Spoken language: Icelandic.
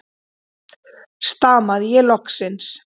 stamaði ég loksins.